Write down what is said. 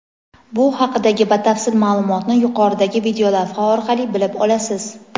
Bu haqidagi batafsil maʼlumotni yuqoridagi videolavha orqali bilib olasiz.